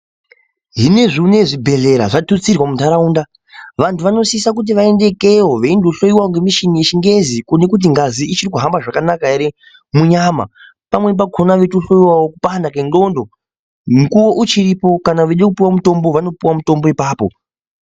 Hino ezvino izvi zvibhedleya zvatutsirwa muntaraunda vantu vanosisa kuti vaendeyekeyo beyino hloriwa nemishini yechingezi ,kuone kuti ngazi ichirikuhamba zvakanaka here munyama pamweni pakona eyito hloriwawo kukwana kwengxondo ngu uchiyipo, kana weditopiwa mutombo vanopiwa mutombo ipapo.